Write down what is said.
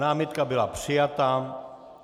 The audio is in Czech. Námitka byla přijata.